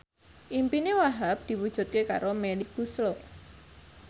impine Wahhab diwujudke karo Melly Goeslaw